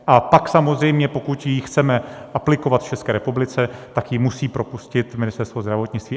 A pak samozřejmě, pokud ji chceme aplikovat v České republice, tak ji musí propustit Ministerstvo zdravotnictví.